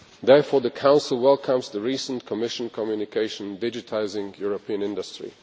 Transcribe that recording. Therefore the Council welcomes the recent Commission communication on digitising European industry.